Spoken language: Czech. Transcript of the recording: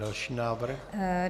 Další návrh.